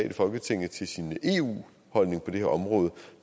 i folketinget til sin eu holdning på det her område